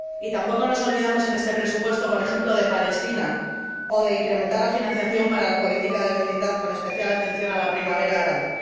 Tampoco nos olvidamos en este presupuesto, por ejemplo, de Palestina, ni de incrementar la financiación para la política de vecindad, con especial atención a la primavera árabe.